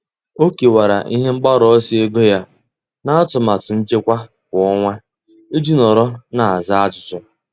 Ọ́ kèwàrà ihe mgbaru ọsọ ego ya n’átụ́màtụ nchekwa kwa ọnwa iji nọ́rọ́ n’ázá ájụ́jụ́.